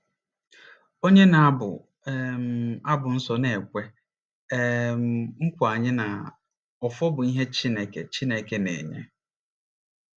Onye na-abu um abụ nsọ na-ekwe um nkwa anyị na “ọfọ bụ ihe Chineke Chineke na-enye.”